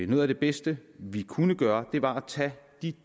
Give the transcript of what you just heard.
noget af det bedste vi kunne gøre var at tage